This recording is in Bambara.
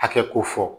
Hakɛ ko fɔ